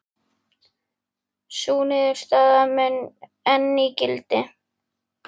Sú niðurstaða mun enn í gildi.